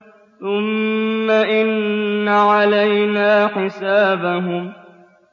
ثُمَّ إِنَّ عَلَيْنَا حِسَابَهُم